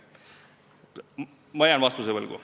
Ma jään vastuse võlgu.